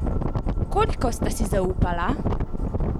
Koliko sta si zaupala?